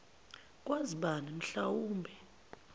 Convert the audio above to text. kwazi bani mhlawumbe